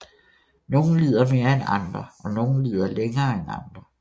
Nogle lider mere end andre og nogle lider længere end andre